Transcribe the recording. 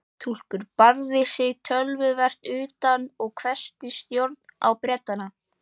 Túlkurinn barði sig töluvert utan og hvessti sjónir á Bretann.